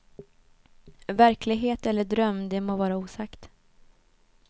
Verklighet eller dröm, det må vara osagt.